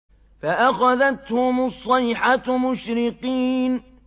فَأَخَذَتْهُمُ الصَّيْحَةُ مُشْرِقِينَ